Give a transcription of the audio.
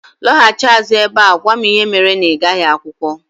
Lọghachi azụ ebe a gwa m ihe mere na ịgaghị akwụkwọ